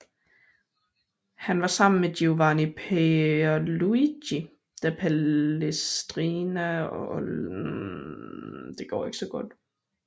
Han var sammen med Giovanni Pierluigi da Palestrina og Orlando di Lassi den vigtigste komponist under modreformationen